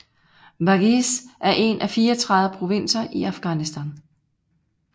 Badghis er en af 34 provinser i Afghanistan